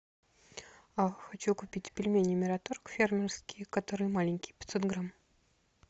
хочу купить пельмени мираторг фермерские которые маленькие пятьсот грамм